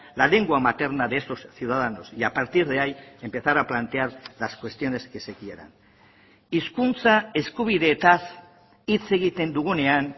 la lengua materna de esos ciudadanos y a partir de ahí empezar a plantear las cuestiones que se quieran hizkuntza eskubideetaz hitz egiten dugunean